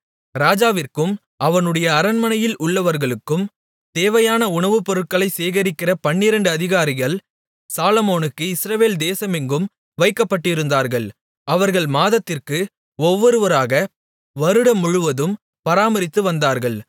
ராஜாவிற்கும் அவனுடைய அரண்மனையில் உள்ளவர்களுக்கும் தேவையான உணவுப்பொருள்களைச் சேகரிக்கிற பன்னிரண்டு அதிகாரிகள் சாலொமோனுக்கு இஸ்ரவேல் தேசமெங்கும் வைக்கப்பட்டிருந்தார்கள் அவர்கள் மாதத்திற்கு ஒவ்வொருவராக வருடம் முழுவதும் பராமரித்துவந்தார்கள்